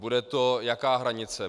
Bude to jaká hranice?